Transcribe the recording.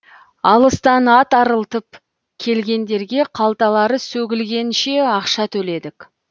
алыстан ат арылтып келгендерге қалталары сөгілсенше ақша төледік